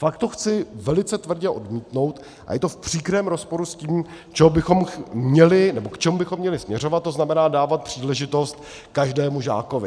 Pak tu chci velice tvrdě odmítnout - a je to v příkrém rozporu s tím, k čemu bychom měli směřovat, to znamená dávat příležitost každému žákovi.